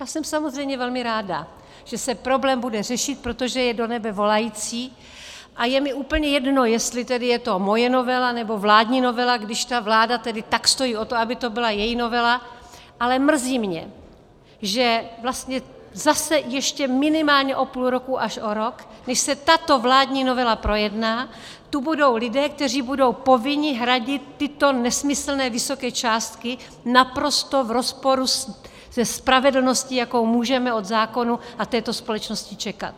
To jsem samozřejmě velmi ráda, že se problém bude řešit, protože je do nebe volající, a je mi úplně jedno, jestli tedy je to moje novela, nebo vládní novela, když ta vláda tedy tak stojí o to, aby to byla její novela, ale mrzí mě, že vlastně zase ještě minimálně o půl roku až o rok, než se tato vládní novela projedná, tu budou lidé, kteří budou povinni hradit tyto nesmyslné vysoké částky naprosto v rozporu se spravedlností, jakou můžeme od zákonů a této společnosti čekat.